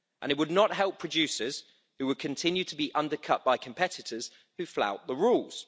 And it would not help producers, who would continue to be undercut by competitors who flout the rules.